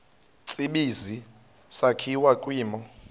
tsibizi sakhiwa kwimo